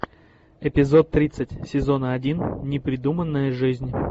эпизод тридцать сезона один непридуманная жизнь